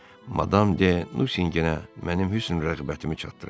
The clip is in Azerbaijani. Madam de Nusinqinə mənim hüsn rəğbətimi çatdırın.